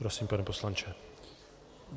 Prosím, pane poslanče.